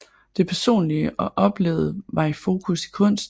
Det personlige og oplevede var i fokus i kunsten